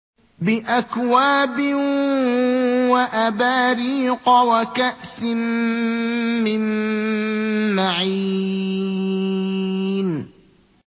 بِأَكْوَابٍ وَأَبَارِيقَ وَكَأْسٍ مِّن مَّعِينٍ